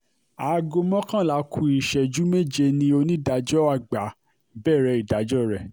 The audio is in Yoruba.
aago mọ́kànlá ku ìṣẹ́jú méje ni onídàájọ́ àgbà bẹ̀rẹ̀ ìdájọ́ rẹ̀